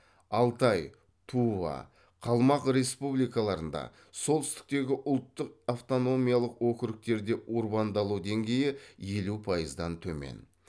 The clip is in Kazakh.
алтай тува қалмақ республикаларында солтүстіктегі ұлттық автономиялық округтерде урбандалу деңгейі елу пайыздан төмен